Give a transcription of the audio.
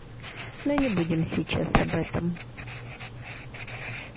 но не будем сейчас об этом